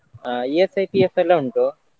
ಆ ESI, PF ಎಲ್ಲ ಉಂಟು.